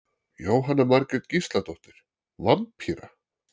Jóhanna Margrét Gísladóttir: Vampíra?